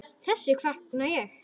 Þessu fagna ég.